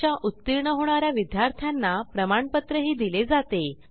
परीक्षा उत्तीर्ण होणा या विद्यार्थ्यांना प्रमाणपत्रही दिले जाते